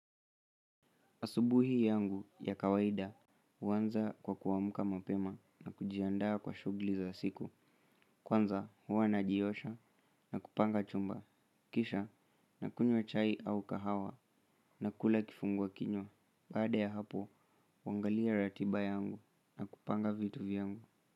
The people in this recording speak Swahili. Asubuhi yangu ya kawaida, huanza kwa kuamka mapema na kujiandaa kwa shughuli za siku, kwanza huwa najiosha na kupanga chumba, kisha nakunywa chai au kahawa na kula kifungua kinywa, baada ya hapo, huangalia ratiba yangu na kupanga vitu vyangu.